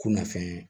Kunnafoni